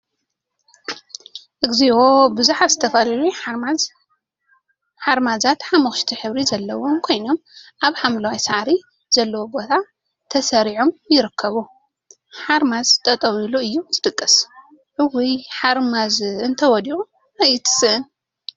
እግዚኦ! ቡዙሓት ዝተፈላለዩ ሓርማዛት ሓመኩሽቲ ሕብሪ ዘለዎም ኮይኖም፤ አብ ሓምለዋይ ሳዕሪ ዘለዎ ቦታ ተሰሪዖም ይርከቡ፡፡ ሓርማዝ ጠጠው ኢሉ እዩ ዝድቅስ፡፡ እውይ! ሓርማዝ እንተወዲቁ አይትስእን፡፡